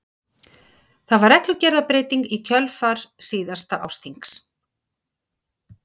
Það var reglugerðarbreyting í kjölfar síðasta ársþings.